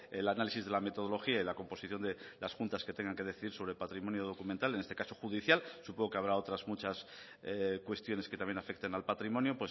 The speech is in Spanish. el análisis de la metodología y la composición de las juntas que tengan que decir sobre patrimonio documental en este caso judicial supongo que habrá otras muchas cuestiones que también afecten al patrimonio